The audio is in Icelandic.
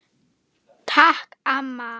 Takk amma.